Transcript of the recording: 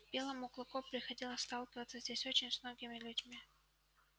белому клыку приходилось сталкиваться здесь с очень многими людьми